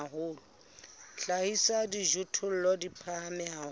hlahisa dijothollo di phahame haholo